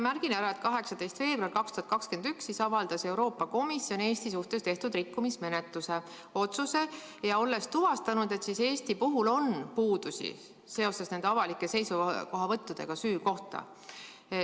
Märgin ära, et 18. veebruaril 2021 avaldas Euroopa Komisjon Eesti suhtes tehtud rikkumismenetluse otsuse, olles tuvastanud, et Eestis esineb puudusi seoses avalike seisukohavõttudega süü kohta.